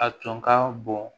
A tun ka bon